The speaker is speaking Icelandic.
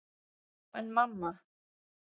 Já, en mamma.!